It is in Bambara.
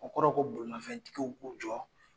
O kɔrɔ ye ko bolimafɛntigiw k'u jɔ